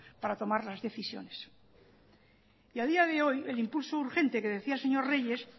para tomar las decisiones y adía de hoy el impulso urgente que decía el señor reyes